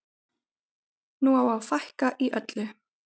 Nú á að fækka í öllu.